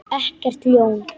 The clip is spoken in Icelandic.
Ekkert ljón.